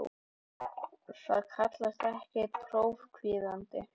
Það kallast ekki prófkvíði.